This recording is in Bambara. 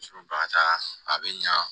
Muso ka taa a bɛ ɲa